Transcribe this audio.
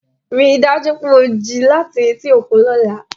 Rí i dájú pé o jí láti etí òkun lọ́la